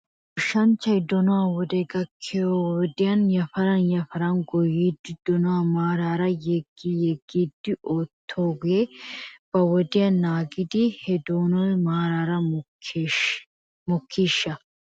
Goshshanchchay donuwaa wodee gakkiyoo wodiyan yafaran yafaran goyyoogan donuwaa maaraara yeggi yeggidi oottoogee ba wodiyaa naagidi he donoy maara mokkiishsha?